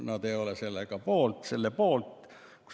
Nad ei ole poolt.